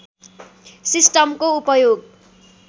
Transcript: सिस्टमको उपयोग